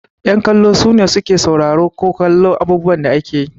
Yan kallo sune su ke sauraro ko kallon abubuwan da ake yi.